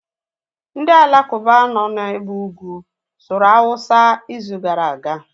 Ndị alakuba nọ na ebe ugwu sụrụ awụsa izu gara aga